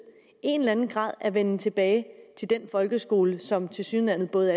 en eller anden grad af venden tilbage til den folkeskole som tilsyneladende både